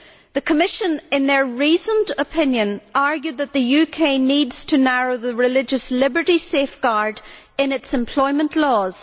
The Commission, in their reasoned opinion, argued that the UK needs to narrow the religious liberty safeguard in its employment laws.